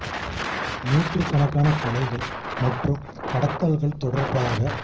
June முதல் கிழமைக்கும் July நடுப்பகுதிக்குமிடையில்